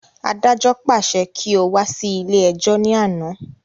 Adájọ́ pàṣẹ kí o wá sí ilé ẹjọ́ ní àná